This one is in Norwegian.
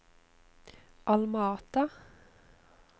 Alma Ata